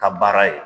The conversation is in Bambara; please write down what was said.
Ka baara ye